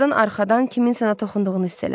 Birazdan arxadan kimsə ona toxunduğunu hiss elədi.